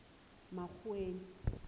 makgoweng